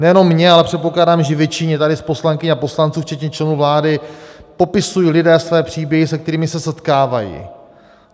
Nejenom mně, ale předpokládám, že většině tady z poslankyň a poslanců včetně členů vlády popisují lidé své příběhy, se kterými se setkávají.